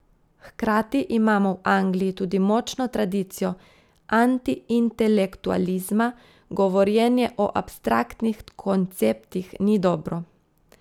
Hkrati imamo v Angliji tudi močno tradicijo antiintelektualizma, govorjenje o abstraktnih konceptih ni dobro.